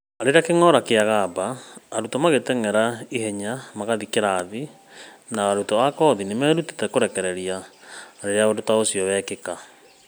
Rĩrĩa kĩng'ora kĩgamba, arutwo magĩteng'era na ihenya magĩthiĩ kĩrathi, na arutwo a koci nĩ merutĩte kũrekereria rĩrĩa ũndũ ta ũcio wĩkĩka.